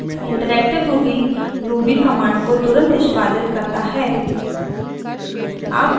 interactive ruby ruby command को तुरंत निष्पादित करता है